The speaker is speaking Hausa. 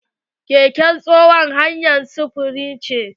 Keke tsohon hanyar sufuri ce.